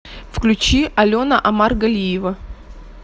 включи алена омаргалиева